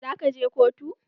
Za ka je kotu?